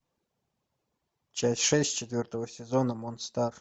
часть шесть четвертого сезона монстар